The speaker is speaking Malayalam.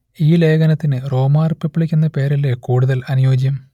ഈ ലേഖനത്തിനു റോമാ റിപ്പബ്ലിക്ക് എന്ന പേര് അല്ലേ കൂടുതൽ അനുയോജ്യം